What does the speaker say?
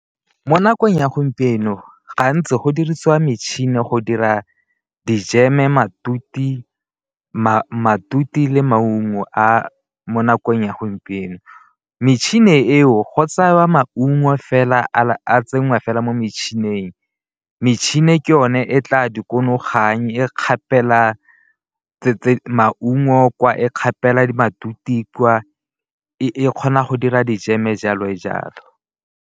Mo nakong ya gompieno gantsi go dirisiwa metšhini go dira dijeme, matute le maungo a mo nakong ya gompieno. Metšhini eo go tsawa maungo fela a tsenngwa mo metšhining, metšhini e ke yone e tla dikologang e kgapela maungo kwa e kgapela matute kwa e kgona go dira dijeme jalo le jalo.